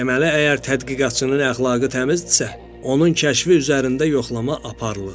Deməli əgər tədqiqatçının əxlaqı təmizdirsə, onun kəşfi üzərində yoxlama aparılır.